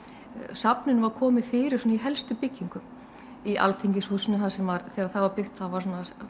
safninu var komið fyrir svona í helstu byggingum í alþingishúsinu þegar það var byggt þá